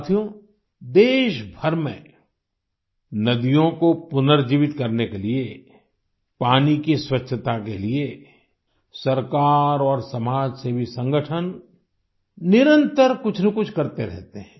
साथियो देश भर में नदियों को पुनर्जीवित करने के लिये पानी की स्वच्छता के लिये सरकार और समाजसेवी संगठन निरंतर कुछनकुछ करते रहते हैं